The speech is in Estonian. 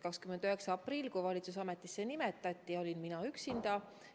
29. aprillil, kui valitsus ametisse nimetati, olingi vaid mina üksinda.